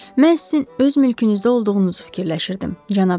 Mən sizin öz mülkünüzdə olduğunuzu fikirləşirdim, cənab de Şarni.